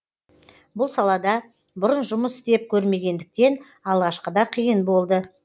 бұл салада бұрын жұмыс істеп көрмегендіктен алғашқыда қиын болды